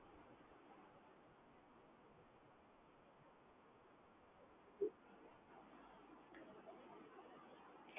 એકદમ application છે એમાં તમને કોઈ જ problem થવાની શક્યતા નથી એકદમ સેફ તમારો account ને તમારા યુ પી આય કોડ બધા એકદમ સેફ છે Secure છે પ્રકારની ટેન્શન લેવાની જરૂર નથી તમારે સો ટકા Safety રહેતી હોય છે આમાં